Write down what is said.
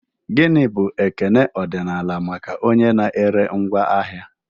Gini bụ ekele ọdịnala maka onye na-ere ngwaahịa?